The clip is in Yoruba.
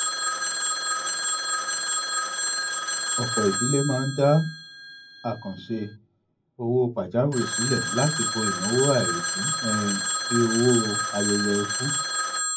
ọpọ idílé máa ń dá àkàǹṣe owó pajawiri sílẹ láti bo ináwó àìrètí um bíi owó ayẹyẹ ikú